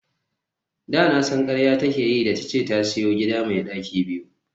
Da na san karya take yi da tace ta siyo gida me daki biyu